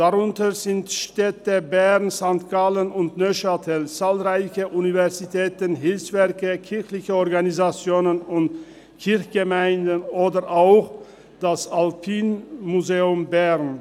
Darunter befinden sich die Städte Bern, St. Gallen und Neuchâtel, zahlreiche Universitäten, Hilfswerke, kirchliche Organisationen und Kirchgemeinden oder auch das Alpine Museum der Schweiz in Bern.